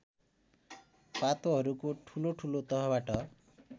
पातोहरूको ठुलोठुलो तहबाट